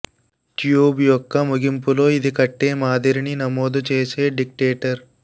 tube యొక్క ముగింపులో ఇది కొట్టే మాదిరిని నమోదు చేసే డిటెక్టర్